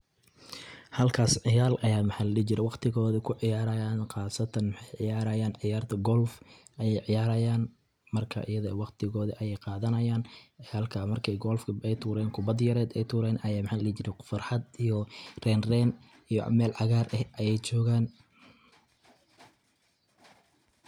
Halkaas ciyaal ayaa maxaa ladihi jire waqtigooda kuciyaaraayaan qaasatan maxaay ciyaaraayaan ciyaarta Golf ayeey ciyaaraayaan marka ida eh waqtigooda ayeey qaadanaayaaan halkaa markay golfka aay tuureen kubadi yareed ay tureen ayaa maxaa ladihi jire farxad iyo reyn reyn iyoo meel cagaar ah ayeey joogaan.